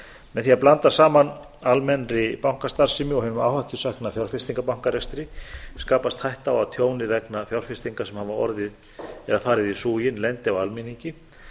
með því að blanda saman almennri bankastarfsemi og hinum áhættusækna fjárfestingarbankarekstri skapast hætta á að tjónið vegna fjárfestinga sem hafa orðið eða farið í súginn lendi á almenningi